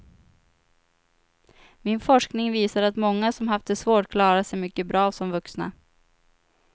Min forskning visade att många som haft det svårt klarar sig mycket bra som vuxna.